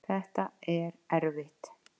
Þetta er erfitt